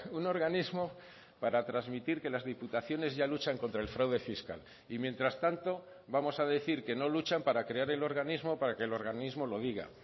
un organismo para transmitir que las diputaciones ya luchan contra el fraude fiscal y mientras tanto vamos a decir que no luchan para crear el organismo para que el organismo lo diga